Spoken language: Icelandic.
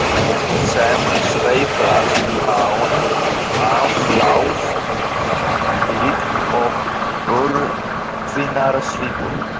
um sem sveiflast án afláts líkt og örfínar svipur.